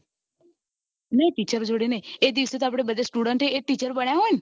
નઈ teacher ઓ જોડે નઈ એ દિવસે આપડે બધા student ઓ teacher બન્યા હોય